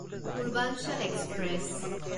Purvanchal express